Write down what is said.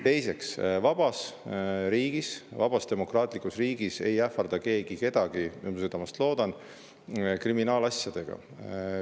Teiseks, vabas riigis, vabas demokraatlikus riigis ei ähvarda keegi kedagi, ma südamest loodan, kriminaalasjadega.